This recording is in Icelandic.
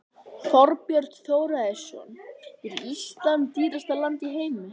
Þorbjörn Þórðarson: Er Ísland dýrasta land í heimi?